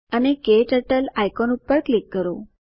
અને KTurtle icon ઉપર click કરો